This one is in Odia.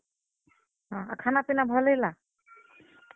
ହଁ, ଆର୍ ଖାନାପିନା ଭଲ୍ ହେଲା।